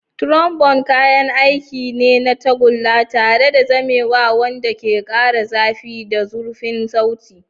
Trombone kayan aiki ne na tagulla tare da zamewa wanda ke ƙara zafi da zurfin sauti.